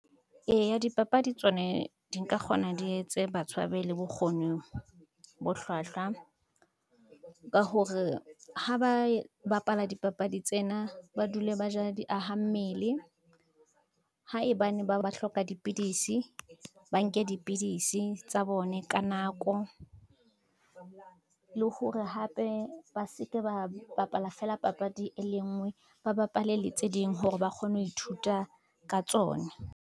Eya dipapadi tsone di nka kgona di etse batho ba be le bokgoni bo hlwahlwa, ka hore ha ba bapala dipapadi tsena ba dule ba ja di aha mmele, haebane ba hloka dipidisi, ba nke dipidisi tsa bone ka nako. Le hore hape ba se ke ba bapala fela papadi e le ngwe, ba bapale le tse ding hore ba kgone ho ithuta ka tsone.